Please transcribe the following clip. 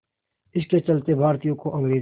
इसके चलते भारतीयों को अंग्रेज़ों